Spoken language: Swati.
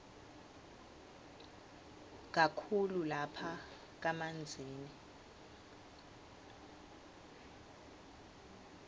kakhulu lapha kamanzini